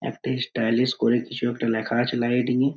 একটা স্টাইলিশ করে কিছু একটা লেখা আছে লাইটিং -এ |